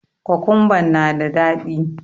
Kokumban na da daɗi.